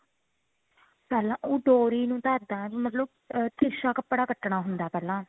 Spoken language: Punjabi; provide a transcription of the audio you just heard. ਪਹਿਲਾਂ ਉਹ ਡੋਰੀ ਨੂੰ ਧਾਗਾ ਮਤਲਬ ਤਿਰਸ਼ਾ ਕੱਪੜਾ ਕੱਟਣਾ ਹੁੰਦਾ ਪਹਿਲਾਂ